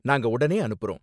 நாங்க உடனே அனுப்புறோம்.